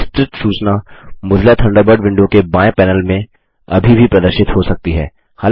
विस्तृत सूचना Mozilla Thunderbird window के बाएँ पैनल में अभी भी प्रदर्शित हो सकती है